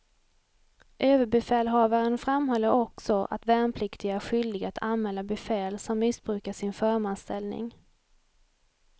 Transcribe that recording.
Överbefälhavaren framhåller också att värnpliktiga är skyldiga att anmäla befäl som missbrukar sin förmansställning.